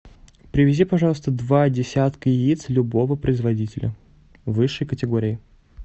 привези пожалуйста два десятка яиц любого производителя высшей категории